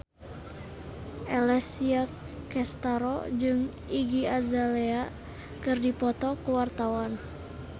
Alessia Cestaro jeung Iggy Azalea keur dipoto ku wartawan